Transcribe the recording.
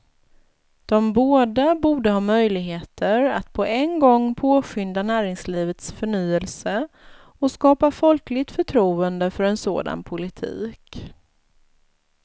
De båda borde ha möjligheter att på en gång påskynda näringslivets förnyelse och skapa folkligt förtroende för en sådan politik.